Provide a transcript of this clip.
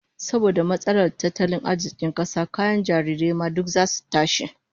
Saboda matsalar tattalin arzikin kasa, kayan jarirai ma duk zasu tashi